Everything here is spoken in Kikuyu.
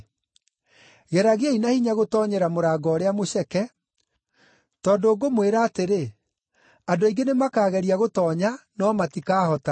“Geragiai na hinya gũtoonyera mũrango ũrĩa mũceke; tondũ ngũmwĩra atĩrĩ, andũ aingĩ nĩ makaageria gũtoonya, no matikahota.